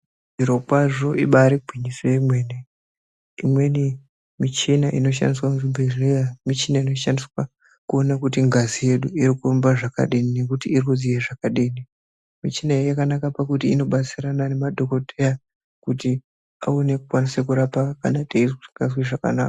Zvirokwazvo ibari gwinyiso yemene imweni michina inoshandiswa muzvibhedhleya michina inoshandiswa kuona kuti ngazi yedu irikupomba, zvakadini nekuti irikudziya zvakadini. Michina iyi yakanaka pakuti inobatsirana nemadhogodheya kuti aone kukwanisa kurapa kana tisingazwi zvakanaka.